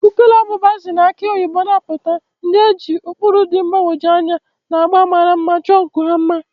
Ukukele abụba si na akị oyibo na-apụta, ndị e ji ụkpụrụ dị mgbagwoju anya na agba mara mma chọọ nku ha mma.